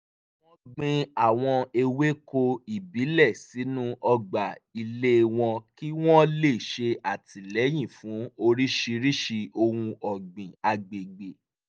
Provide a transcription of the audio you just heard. wọ́n gbin àwọn ewéko ìbílẹ̀ sínú ọgbà ilé wọn kí wọ́n lè ṣe àtìlẹyìn fún oríṣiriṣi ohun ọ̀gbìn agbègbè